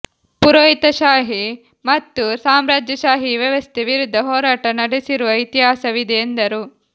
ಪುರೋಹಿತಶಾಹಿ ಮತ್ತು ಸಾಮ್ರಾಜ್ಯಶಾಹಿ ವ್ಯವಸ್ಥೆ ವಿರುದ್ಧ ಹೋರಾಟ ನಡೆಸಿರುವ ಇತಿಹಾಸವಿದೆ ಎಂದರು